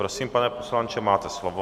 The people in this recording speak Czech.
Prosím, pane poslanče, máte slovo.